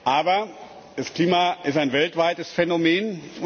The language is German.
Aber das Klima ist ein weltweites Phänomen.